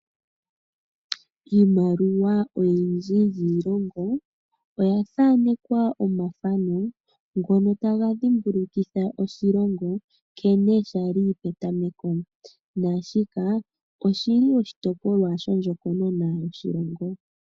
Iimaliwa oyindji yiilongo oyathaanekwa omathano ngono taga dhimbukukitha oshilongo nkene shali petameko, naashika oshili oshitopolwa shondjokonona yoshilongo.